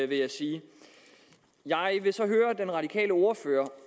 vil jeg sige jeg vil så høre den radikale ordfører